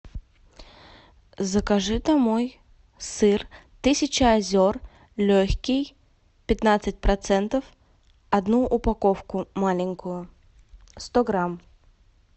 закажи домой сыр тысяча озер легкий пятнадцать процентов одну упаковку маленькую сто грамм